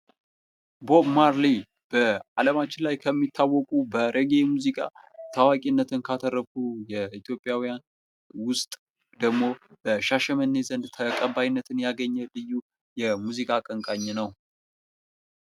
ቦብ ማርሌ በአለማችን ላይ ከሚታወቁ በሬጌ ሙዚቃ ታዋቂነትን ካተረፉ የኢትዮጵያውያን ውስጥ ደግሞ ሻሸመኔ ዘንድ ተቀባይነትን ያገኘ ልዩ የሙዚቃ አቀንቃኝ ነው።